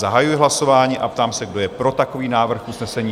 Zahajuji hlasování a ptám se, kdo je pro takový návrh usnesení?